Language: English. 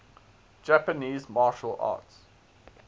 japanese martial arts